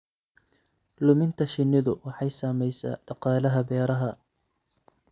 Luminta shinnidu waxay saamaysaa dhaqaalaha beeraha.